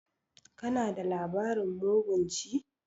Kana da labarin mugun ci?